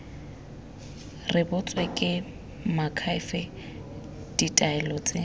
rebotswe ke moakhaefe ditaelo tse